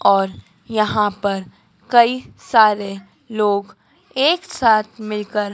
और यहां पर कई सारे लोग एक साथ मिलकर--